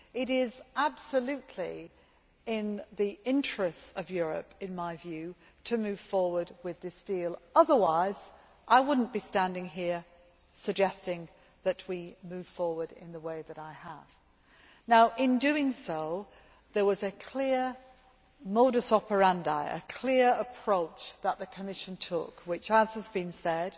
It is absolutely in the interests of Europe, in my view, to move forward with this deal otherwise I would not be standing here suggesting that we move forward in the way that I have. Now, in doing so, there was a clear modus operandi a clear approach that the Commission took which, as has been said,